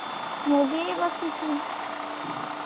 ମୁଁ ବି ଏଇ ବସିଛି